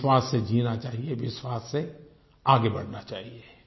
विश्वास से जीना चाहिए विश्वास से आगे बढ़ना चाहिए